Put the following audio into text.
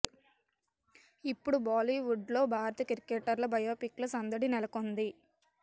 ఇప్పుడు బాలీవుడ్ లో భారత క్రికెటర్ల బయోపిక్ ల సందడి నెలకొంది